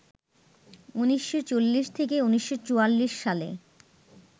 ১৯৪০ থেকে ১৯৪৪ সালে